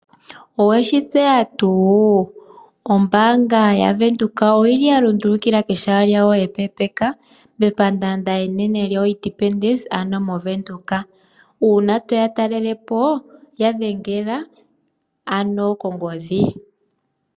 Oweshi tseya tuu? Ombaanga yaWindhoek oyili ya lundulukila kehala lyawo epeepeka mepandaanda enene lyoIndependence ano moVenduka. Uuna toya ta lelepo ya dhengela ano kongodhi.